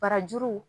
Barajuru